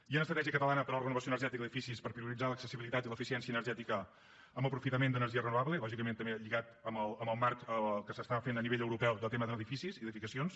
hi ha una estratègia catalana per a la renovació energètica d’edificis per prioritzar l’accessibilitat i l’eficiència energètica amb aprofitament d’energies renovables lògicament també lligat amb el marc que es fa a nivell europeu de tema d’edificis i edificacions